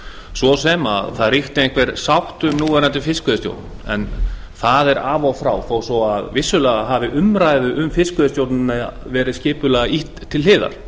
svo sem að það ríkti einhver sátt um núverandi fiskveiðistjórn það er af og frá þó svo að vissulega hafi umræðum um fiskveiðistjórnina verið skipulega ýtt til hliðar